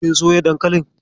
Kin soya dankalin?